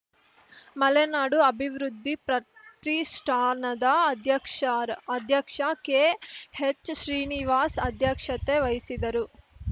ಮಲೆನಾಡು ಅಭಿವೃದ್ಧಿ ಪ್ರತಿಷ್ಠಾನದ ಅಧ್ಯಕ್ಷರ್ ಅಧ್ಯಕ್ಷ ಕೆಎಚ್‌ ಶ್ರೀನಿವಾಸ್‌ ಅಧ್ಯಕ್ಷತೆ ವಹಿಸಿದರು